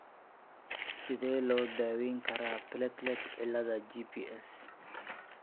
Sidee lagu daweyn karaa platelet ciilada (GPS)?